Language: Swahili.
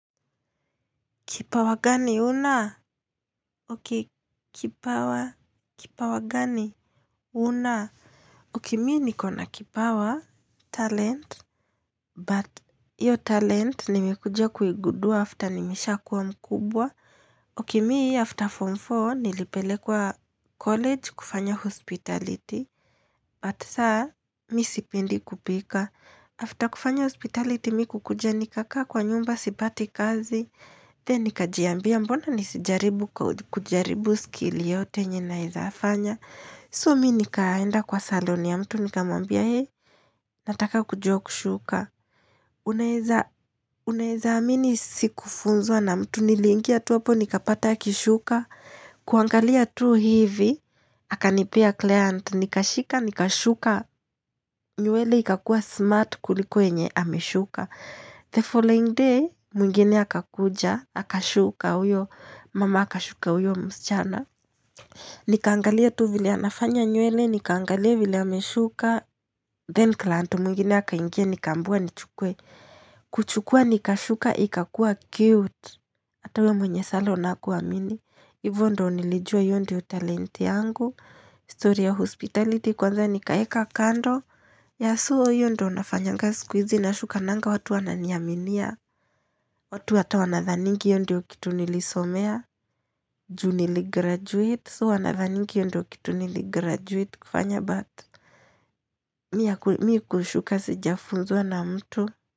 Kipawa gani huna? Ok, kipawa. Kipawa gani? Una? Ok, mimi nikona kipawa. Talent. But, hiyo talent nimekuja kuigundua after nimeshakuwa mkubwa. Ok, mimi after form 4 nilipelekwa college kufanya hospitality. But, sasa, mimi sipendi kupika. After kufanya hospitality, mimi kukuja nikakaa kwa nyumba sipati kazi. Then nikajiambia mbona nisijaribu kujaribu skill yote yenye naeza fanya. So mimi nikaenda kwa salon ya mtu nikamwambia he. Nataka kujua kushuka. Unaweza amini sikufunzwa na mtu nilingia tu hapo nikapata akishuka. Kuangalia tu hivi. Akanipea client. Nikashika nikashuka. Nywele ikakua smart kuliko yenye ameshuka. The following day mwingine akakuja. Akashuka huyo, mama akashuka huyo msichana nikaangalia tu vile anafanya nywele, nikaangalia vile ameshuka then client mwingine akainga nikaambiwa nichukue kuchukua nikashuka ikakuwa cute ata huyo mwenye salon hakuamini hivyo ndivyo nilijua hiyo ndiyo talent yangu story ya hospitality kwanza nikaeka kando yeah so hiyo ndio nafanyanga siku hizi nashukananga watu wananiaminia watu hata wanathaningi hiyo ndiyo kitu nilisomea juu niligraduate. So wanadhani hiyo ndio kitu niligraduate kufanya but. Mimi kushuka sijafunzwa na mtu.